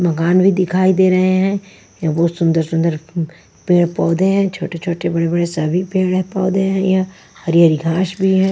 मकान भी दिखाई दे रहे हैं यह बहुत सुंदर सुंदर पेड़ पौधे हैं छोटे-छोटे बड़े-बड़े सभी पेड़ पौधे हैं यहाँ हरी-हरी घास भी हैं।